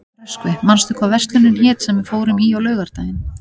Röskvi, manstu hvað verslunin hét sem við fórum í á laugardaginn?